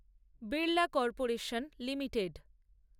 Birla corporation limited